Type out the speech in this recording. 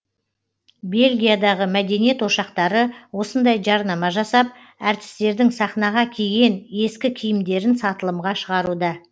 бельгиядағы мәдениет ошақтары осындай жарнама жасап әртістердің сахнаға киген ескі киімдерін сатылымға шығаруда